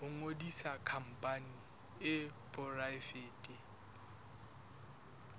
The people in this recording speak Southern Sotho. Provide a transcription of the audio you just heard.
ho ngodisa khampani e poraefete